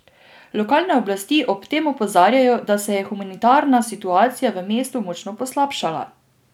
Lokalne oblasti ob tem opozarjajo, da se je humanitarna situacija v mestu močno poslabšala.